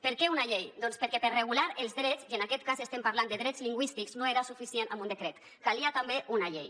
per què una llei doncs perquè per regular els drets i en aquest cas estem parlant de drets lingüístics no era suficient un decret calia també una llei